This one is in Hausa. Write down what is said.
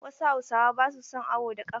Wasu hausawa ba su son awo da ƙafa.